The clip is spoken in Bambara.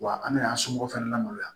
Wa an bɛna an somɔgɔ fana lamaloya